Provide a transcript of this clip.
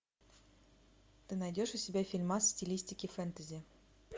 ты найдешь у себя фильмас в стилистике фэнтези